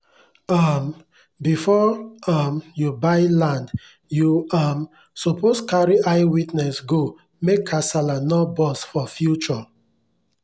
um before um u buy land u um suppos carry eye witness go make casala nor burst for future